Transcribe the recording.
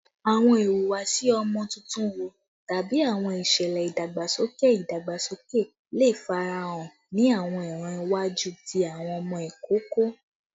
Awọn ihuwasi ọmọ tuntun wo tabi awọn iṣẹlẹ idagbasoke idagbasoke le farahan ni awọn iran iwaju ti awọn ọmọ ikoko?